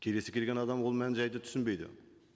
келесі келген адам ол мән жайды түсінбейді